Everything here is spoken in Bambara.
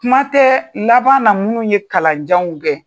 Kuma tɛ laban na minnu ye kalanjanw kɛ.